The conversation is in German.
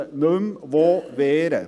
Sie wissen nicht mehr, wo wehren.